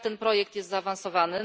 Jak ten projekt jest zaawansowany?